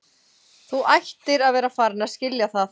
Þú ættir að vera farin að skilja það.